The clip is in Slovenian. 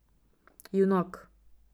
Junak.